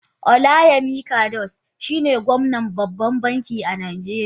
Olayemi cardoso shine gwamnan babban bankin najeriya.